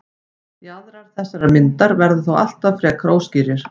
Jaðrar þessarar myndar verða þó alltaf frekar óskýrir.